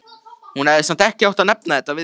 Hún hefði samt ekki átt að nefna þetta við þig.